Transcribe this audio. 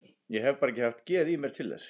Ég hef bara ekki haft geð í mér til þess.